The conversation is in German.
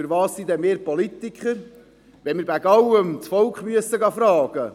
Wofür sind wir Politiker denn da, wenn wir für alles das Volk fragen müssen?